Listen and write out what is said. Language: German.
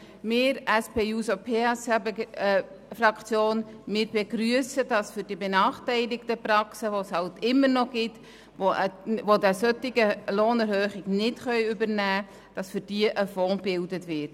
Wir von der SP-JUSO-PSA-Fraktion begrüssen, dass für die benachteiligten Praxen, die es leider immer noch gibt und welche die betreffende Lohnerhöhung nicht übernehmen können, ein Fonds gebildet wird.